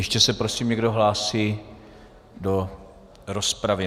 Ještě se prosím někdo hlásí do rozpravy?